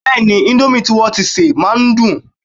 Bẹ́ẹ̀ni, indomie tí wọn tíi sè máa ń dùn